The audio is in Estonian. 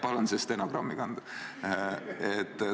Palun see stenogrammi kanda!